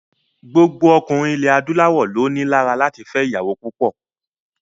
Gbogbo ọkùnrin adúláwọ̀ ló ni lára láti fẹ́ ìyàwó púpọ̀.